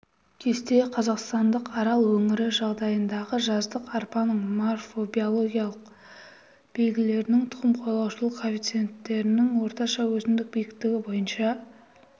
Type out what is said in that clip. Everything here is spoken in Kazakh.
кесте қазақстандық арал өңірі жағдайындағы жаздық арпаның морфобиологиялық белгілерінің тұқым қуалаушылық коэффициентінің орташа өсімдік биіктігі бойынша